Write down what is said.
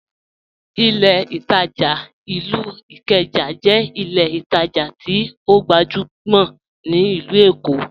Ìlẹ̀ Itajà ilú Ìkéjà jẹ́ ìlẹ̀ ìtajà tí ọ gbajumọ̀ ni Ilù Èkó.